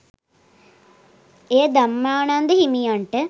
එය ධම්මානන්ද හිමියන්ට